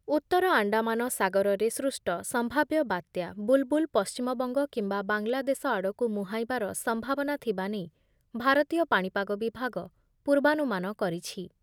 ଉତ୍ତର ଆଣ୍ଡାମାନ ସାଗରରେ ସୃଷ୍ଟ ସମ୍ଭାବ୍ୟ ବାତ୍ୟା ‘ବୁଲ୍‌ବୁଲ୍’ ପଶ୍ଚିମବଙ୍ଗ କିମ୍ବା ବାଂଲାଦେଶ ଆଡ଼କୁ ମୁହାଁଇବାର ସମ୍ଭାବନା ଥିବା ନେଇ ଭାରତୀୟ ପାଣିପାଗ ବିଭାଗ ପୂର୍ବାନୁମାନ କରିଛି ।